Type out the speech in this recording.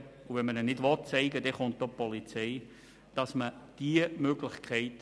Wenn dieser ihn nicht zeigen will, kommt auch die Polizei.